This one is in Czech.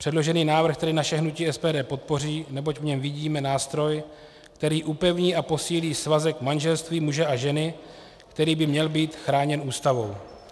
Předložený návrh tedy naše hnutí SPD podpoří, neboť v něm vidíme nástroj, který upevní a posílí svazek manželství muže a ženy, který by měl být chráněn Ústavou.